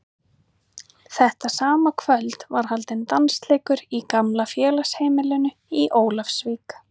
Þetta sama kvöld var haldinn dansleikur í gamla félagsheimilinu í Ólafsvík.